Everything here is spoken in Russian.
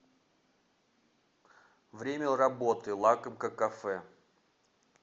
время работы лакомка кафе